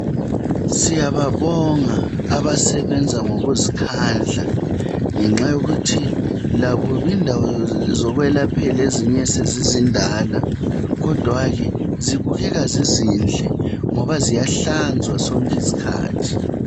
Siyababonga abasebenza ngokuzikhandla ngenxa yokuthi lakho indawo zokwelaphela ezinye sezizindala kodwa ke zibukeka zizihle ngoba ziyahlazwa sonke isikhathi.